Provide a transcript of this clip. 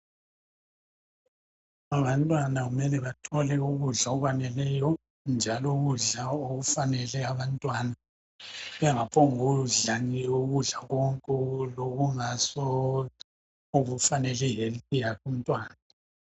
Abantwana kumele bathole ukudla okwaneleyo, njalo ukudla okufanele abantwana. Bangaphongukudla nje ukudla konke, lokungaso okufanele health yakhe umntwana.